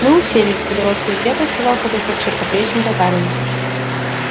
мы уселись в белогорскую крепость сказал пугачёв широкоплечему татарину